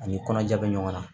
Ani kɔnɔja bɛ ɲɔgɔn na